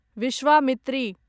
Vishwamitri